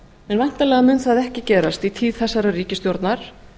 en væntanlega mun það ekki gerast í tíð þessarar ríkisstjórnar